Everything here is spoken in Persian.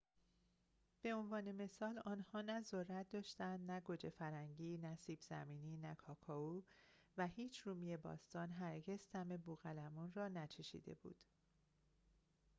به عنوان مثال آنها نه ذرت داشتند نه گوجه فرنگی نه سیب زمینی نه کاکائو و هیچ رومی باستان هرگز طعم بوقلمون را نچشیده بود